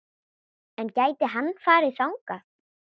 En gæti hann farið þangað?